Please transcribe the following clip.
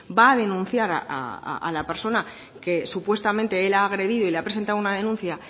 va a denunciar a la persona que supuestamente el ha agredido y le ha presentado una denuncia